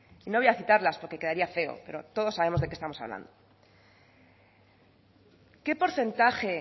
y no voy a citarlas porque quedaría feo pero todos sabemos de qué estamos hablando qué porcentaje